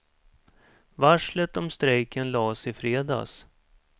Varslet om strejken las i fredags.